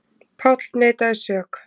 Páll neitaði sök.